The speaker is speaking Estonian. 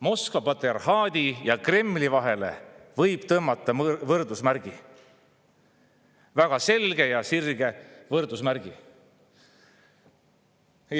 Moskva patriarhaadi ja Kremli vahele võib tõmmata võrdusmärgi, väga selge ja sirge võrdusmärgi.